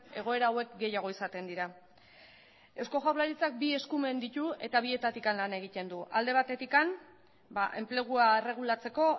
egoera hauek gehiago izaten dira eusko jaurlaritzak bi eskumen ditu eta bietatik lan egiten du alde batetik enplegua erregulatzeko